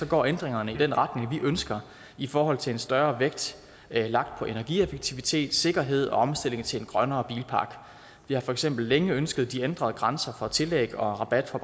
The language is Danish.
går ændringerne i den retning vi ønsker i forhold til en større vægt lagt på energieffektivitet sikkerhed og omstilling til en grønnere bilpark vi har for eksempel længe ønsket de ændrede grænser for tillæg og rabat for